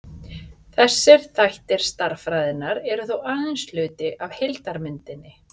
þessir þættir stærðfræðinnar eru þó aðeins hluti af heildarmyndinni